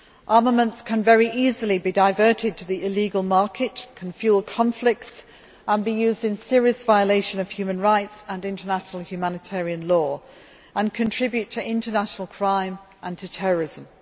Armaments can be very easily diverted to the illegal market, can fuel conflicts and can be used in serious violation of human rights and international humanitarian law, and contribute to international crime and to terrorism.